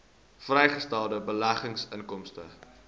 vrygestelde beleggingsinkomste